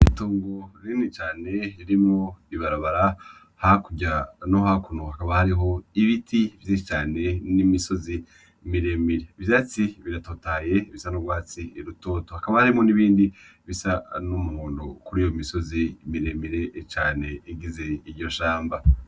Itongo rinini cane ririmwo ibarabara, hakurya no hakuno hakaba hariho ibiti vyinshi cane n'imisozi miremire, ivyatsi biratotahaye bisa n'urwatsi rutoto, hakaba harimwo nibindi bisa n'umuhondo kuriyo misozi miremire cane igize iryo shamba.